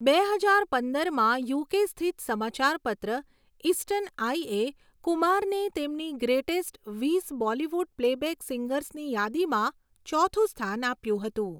બે હજાર પંદરમાં યુકે સ્થિત સમાચારપત્ર ઈસ્ટર્ન આઇએ કુમારને તેમની 'ગ્રેટેસ્ટ વીસ બોલિવૂડ પ્લેબેક સિંગર્સ'ની યાદીમાં ચોથું સ્થાન આપ્યું હતું.